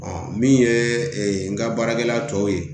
min ye n ka baarakɛla tɔ ye